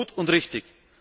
Das ist gut und richtig.